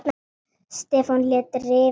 Stefán lét rifa í augun.